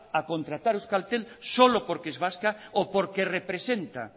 a contratar euskaltel solo porque es vasca o porque representa